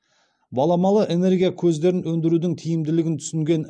баламалы энергия көздерін өндірудің тиімділігін түсінген